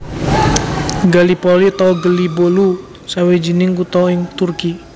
Gallipoli utawa Gelibolu sawijining kutha ing Turki